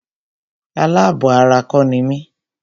Alábọ̀ ara kọ́ ni mí.